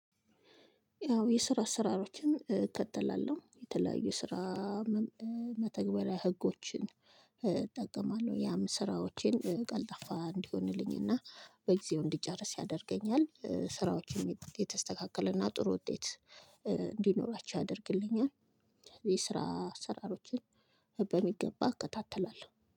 ያው የስራ አስራሮችን እ እከተላለሁ የተለያዩ ስራ ም መተግበሪያ ህጎችን እ እጠቀማለሁ ያም ስራዎቼን እ ቀልጣፋ እንዲሆንልኝ እና በጊዜው እንዲጨርስ ያደርገኛል። እ ስራዎችን የተስተካከለ እና ጥሩ ውጤት እ እንዲኖራቸው ያደርግልኛል። የስራ አሰራሮችን በሚገባ እከታተላለሁ